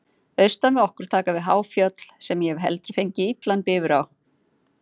Austan við okkur taka við há fjöll, sem ég hef heldur fengið illan bifur á.